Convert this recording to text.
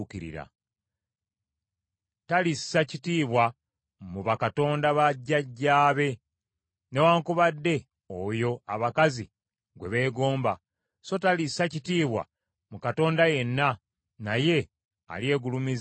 Talissa kitiibwa mu bakatonda ba jjajjaabe newaakubadde oyo abakazi gwe beegomba, so talissa kitiibwa mu katonda yenna, naye alyegulumiza okusinga bonna.